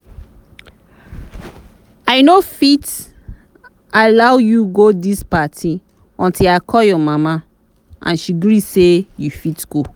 i no fit allow you go dis party until i call your mama and she gree say you fit go